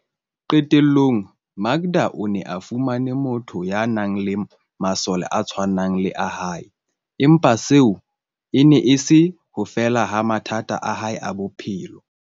Qetellong, Makda o ne a fumane motho ya nang le masole a tshwanang le a hae, empa seo e ne e se ho fela ha mathata a hae a bophelo.